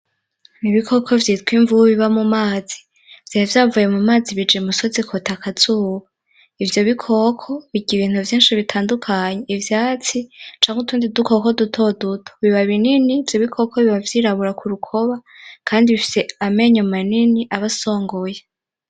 Ibikoko vyitwa imvuba biba mumazi Vyari vyavuye mumazi kwota akazuba. Ivyo bikoko birya ibintu vyinshi bitandukanye, ivyatsi canke utundi dukoko dutoduto biba binini kandi ivyo bikoko biba vyirabura kurukoba kandi bifise amenyo manini aba asongoye.